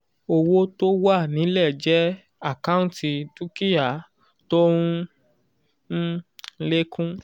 owó tó wà nílẹ̀ jẹ́ àkántì dúkìá tó ń um lékún